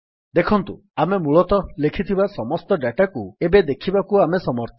ଦେଖନ୍ତୁ ଆମେ ମୂଳତଃ ଲେଖିଥିବା ସମସ୍ତ Dataକୁ ଏବେ ଦେଖିବାକୁ ଆମେ ସମର୍ଥ